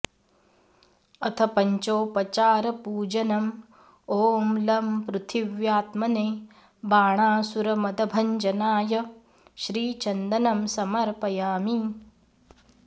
अथ पञ्चोपचारपूजनम् ॐ लं पृथिव्यात्मने बाणासुरमदभञ्जनाय श्रीचन्दनं समर्पयामि